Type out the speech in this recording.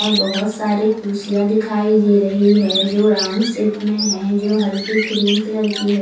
और बहोत सारे कुर्सियां दिखाई दे रही है जो राउंड शेप में है जो हल्के क्रीम कलर की है।